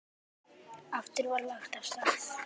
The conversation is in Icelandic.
Aftur var lagt af stað.